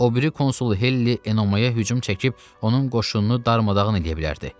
O biri konsul Helli Enomaya hücum çəkib onun qoşununu darmadağın eləyə bilərdi.